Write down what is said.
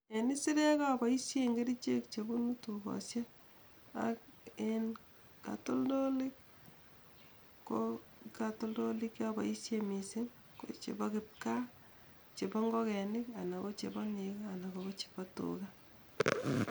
En isirek opoishen chepunu tukoshel ak en kotoltolik ko kotoltolik che opoishe missing ko chepo kipkaa jepo ingogenik anan kochepo negoo anan kochepo tugaa.